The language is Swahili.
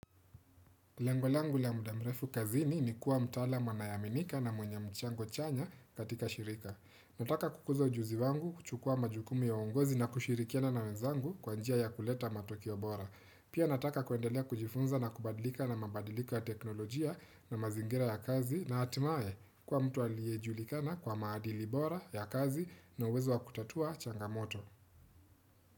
Lengo langu la muda mrefu kazini ni kuwa mtalaamu anayeaminika na mwenye mchango chanya katika shirika. Nataka kukuza ujuzi wangu, kuchukua majukumu ya uongozi na kushirikiana na wenzangu kwa njia ya kuleta matokeo bora. Pia nataka kuendelea kujifunza na kubadilika na mabadilika teknolojia na mazingira ya kazi na hatimae kwa mtu aliyejulikana kwa maadili bora ya kazi na uwezo wa kutatua changamoto.